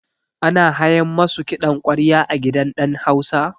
Ana hayan masu kiɗan ƙwarya a gidan ɗan hausa?